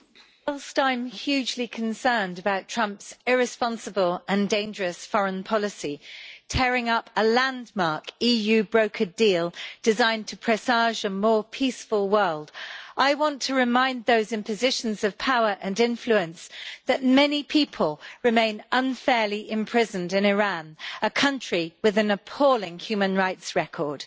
Madam President, whilst I am hugely concerned about Trump's irresponsible and dangerous foreign policy, tearing up a landmark, EU brokered deal designed to presage a more peaceful world, I want to remind those in positions of power and influence that many people remain unfairly imprisoned in Iran, a country with an appalling human rights record.